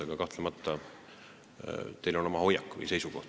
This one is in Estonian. Aga kahtlemata on teil selles asjas oma seisukoht.